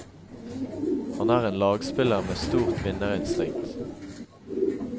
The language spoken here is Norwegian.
Han er en lagspiller med stort vinnerinstinkt.